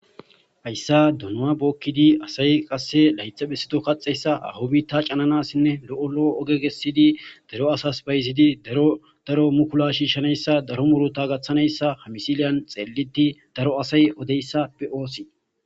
hayssa dunua bookkidi asay qasse laytha bessito kaxeyssa ahu bita cananasinne lo7o lo7o oge gessidi daro asas bayzidi daro daro mukula shiishshanayssa daro murota gaththanayssa hamisiliyan xeeliti daro asay odeyssa pe oosi